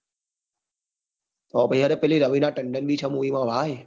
હોભ્ડ્યું ચ પેલી રવિના તંદન ભી ચ movie માં ભાઈ